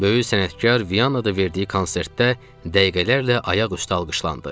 Böyük sənətkar Viyanada verdiyi konsertdə dəqiqələrlə ayaq üstə alqışlandı.